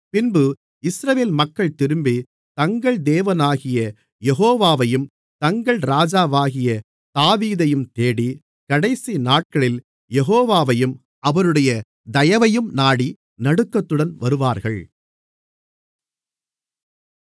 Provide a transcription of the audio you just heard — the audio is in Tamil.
பின்பு இஸ்ரவேல் மக்கள் திரும்பி தங்கள் தேவனாகிய யெகோவாவையும் தங்கள் ராஜாவாகிய தாவீதையும் தேடி கடைசி நாட்களில் யெகோவாவையும் அவருடைய தயவையும் நாடி நடுக்கத்துடன் வருவார்கள்